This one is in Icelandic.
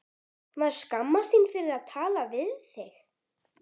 Maður skammast sín fyrir að tala við þig.